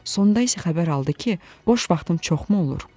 Sonda isə xəbər aldı ki, boş vaxtım çoxmu olur?